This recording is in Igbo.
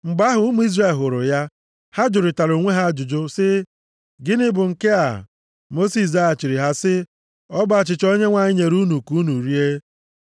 Mgbe ụmụ Izrel hụrụ ya, ha jụrịtara onwe ha ajụjụ sị, “Gịnị bụ nke a?” Mosis zaghachiri ha sị, “Ọ bụ achịcha Onyenwe anyị nyere unu ka unu rie.